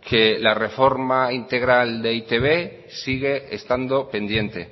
que la reforma integral de e i te be sigue estando pendiente